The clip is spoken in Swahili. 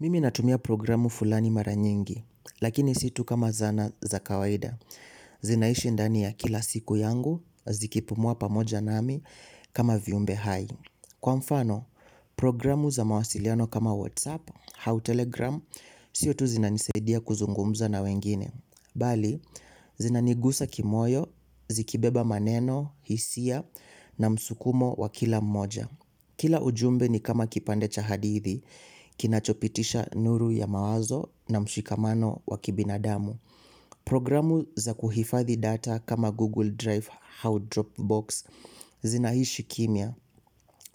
Mimi natumia programu fulani mara nyingi, lakini situ kama zana za kawaida. Zinaishi ndani ya kila siku yangu, zikipumua pamoja nami kama viumbe hai. Kwa mfano, programu za mawasiliano kama WhatsApp, au telegram, siotu zina nisaidia kuzungumza na wengine. Bali, zinanigusa kimoyo, zikibeba maneno, hisia na msukumo wa kila mmoja. Kila ujumbe ni kama kipande cha hadithi kinachopitisha nuru ya mawazo na mshikamano wa kibinadamu programu za kuhifadhi data kama Google drive au drop box zinaishi kimya